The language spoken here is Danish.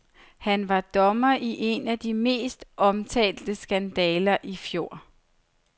Han var dommer i en af de mest omtalte skandaler i fjor.